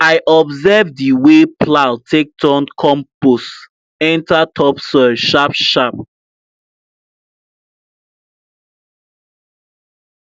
i observe the wey plow take turn compost enter topsoil sharpsharp